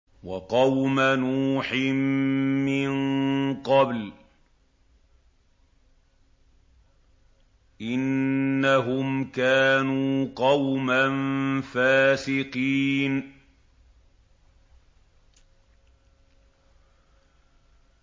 وَقَوْمَ نُوحٍ مِّن قَبْلُ ۖ إِنَّهُمْ كَانُوا قَوْمًا فَاسِقِينَ